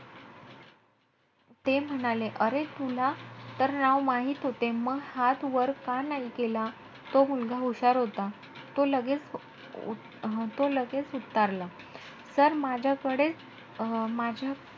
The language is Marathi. ते म्हणाले अरे तुला तर नाव माहित होते. म हात वर का नाही केला? तो मुलगा हुशार होता. तो मुलगा लगेचं ऊत~ तो लगेचं उत्तरला. Sir माझ्याकडेचं.